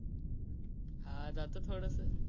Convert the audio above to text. हा जात थोडस.